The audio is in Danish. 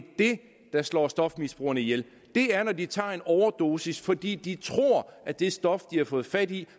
det der slår stofmisbrugerne ihjel det er når de tager en overdosis fordi de tror at det stof de har fået fat i